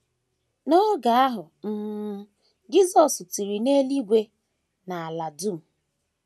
N’oge ahụ um, Jisọs tiri n’eluigwe na ala dum!